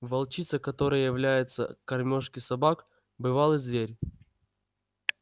волчица которая является к кормёжке собак бывалый зверь